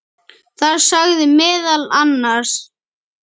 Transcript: Þar sagði meðal annars